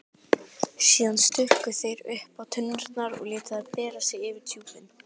Síðan stukku þeir uppá tunnurnar og létu þær bera sig yfir djúpin.